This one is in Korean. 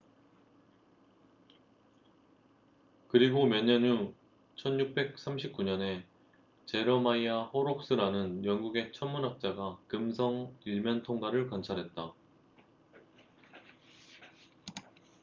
그리고 몇 년 후 1639년에 제러마이아 호록스라는 영국의 천문학자가 금성 일면통과를 관찰했다